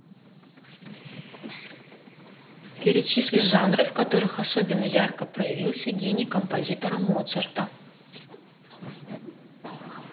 перечисли жанры в которых особенно ярко проявился гений композитора моцарта